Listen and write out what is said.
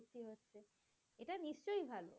সেই ভাল।